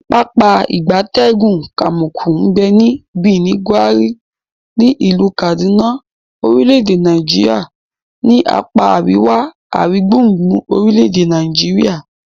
Pápá ìgbatẹ́gùn Kamuku nbe ni Birnin, Gwari, ni ilu Kaduna orile-ede Nigeria ni apa ariwa aringbungbun orile ede Nigeria.